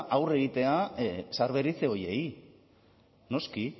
aurre egitea zaharberritze horiei noski